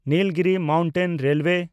Nilgiri mountain railway